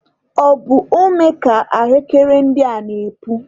Ọ bụ ome ka ahụekere ndị a na-epu?